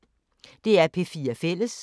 DR P4 Fælles